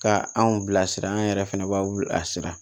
Ka anw bilasira an yɛrɛ fɛnɛ b'a wuli a sira